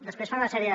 després fan una sèrie